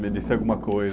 ser alguma coisa.